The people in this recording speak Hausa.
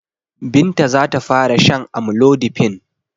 Binta za ta fara shan amlodipine.